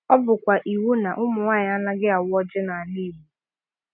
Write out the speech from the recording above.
Ọ bụkwa iwu na ụmụ nwanyị anaghị awa ọjị n’ala Igbo.